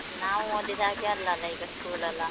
ನಾವು ಓದಿದಗೆ ಅಲ್ಲ ಅಲ್ಲ ಈಗ school ಎಲ್ಲ.